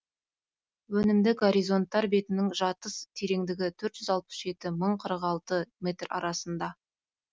өнімді горизонттар бетінің жатыс тереңдігі төрт жүз алпыс жеті мың қырық алты метр арасында